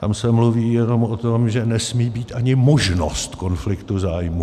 Tam se mluví jenom o tom, že nesmí být ani možnost konfliktu zájmů.